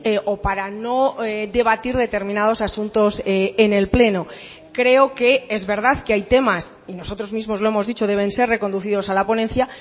o para no debatir determinados asuntos en el pleno creo que es verdad que hay temas y nosotros mismos lo hemos dicho deben ser reconducidos a la ponencia